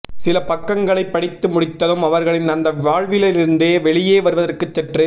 சில பக்கங்களை படித்து முடித்ததும் அவர்களின் அந்த வாழ்விலிருந்து வெளியே வருவதற்கு சற்று